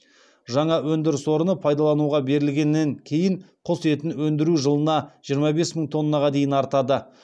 жаңа өндіріс орны пайдалануға берілгеннен кейін құс етін өндіру жылына жиырма бес мың тоннаға дейін артады